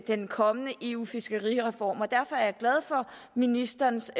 den kommende eu fiskerireform og derfor er jeg glad for ministerens